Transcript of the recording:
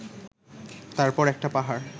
তারপর একটা পাহাড়